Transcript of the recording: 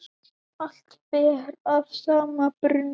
Allt ber að sama brunni.